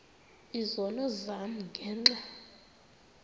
izono zam ngenxa